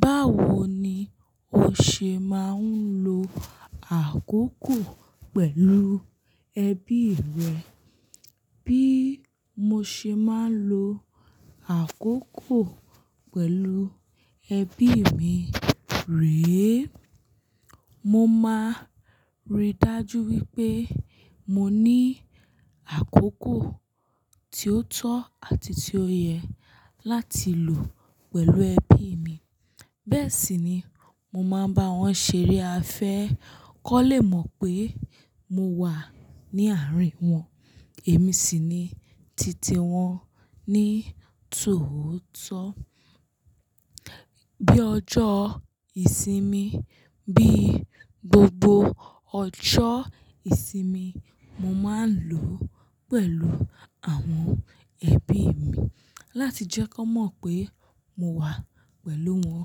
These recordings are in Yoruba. Báwo ni o ṣe máa ń lo àkókò pẹ̀lú ẹbí rẹ? Bí mo ṣe máa ń lo àkókò pẹ̀lú ẹbí mi rèé, mo máa ríi dájú wípé mo ní àkókò tí ó tọ́ àti tí ó yẹ láti lò pẹ̀lú ẹbí mi. Bẹ́ẹ̀ sì ni mo máa ń bá wọn ṣeré afẹ́ kan lé mọ̀ pé mo wà ní àárín wọn èmi sì ní titi wọn ní tòótọ́. Bí ọjọ́ ìsinmi, bí gbogbo ọjọ́ ìsinmi, mo máa ń lò ó pẹ̀lú àwọn ẹbí mi láti jẹ́ kí wọ́n mọ̀ pé mo wà pẹ̀lú wọn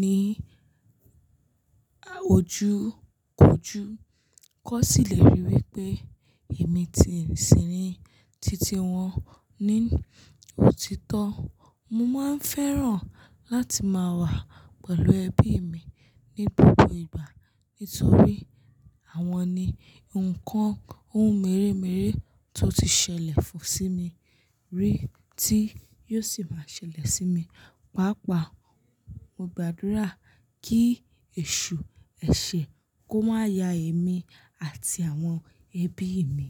ní àwojúkòjú. Kó sì lè rí i wípé èmi ti sì ní titi wọn ní òtítọ́. Mo máa ń fẹ́ràn láti máa wà pẹ̀lú ẹbí mi ní gbogbo ìgbà nítorí àwọn ni nǹkan ohun mèremère tó ti ṣẹlẹ̀ fún sí mi rí tí yóò sì máa ṣẹlẹ̀ sí mi. Pàápàá mo gbàdúrà kí ẹ̀ṣù, ẹṣẹ̀ kó má ya èmi àti àwọn ẹbí mi.